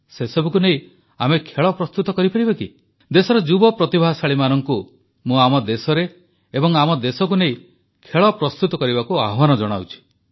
ସେସବୁକୁ ନେଇ ଆମେ ଖେଳ ପ୍ରସ୍ତୁତ କରିପାରିବା କି ଦେଶର ଯୁବ ପ୍ରତିଭାଶାଳୀମାନଙ୍କୁ ମୁଁ ଆମ ଦେଶରେ ଏବଂ ଆମ ଦେଶକୁ ନେଇ ଖେଳ ପ୍ରସ୍ତୁତ କରିବାକୁ ଆହ୍ୱାନ ଜଣାଉଛି